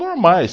Normais.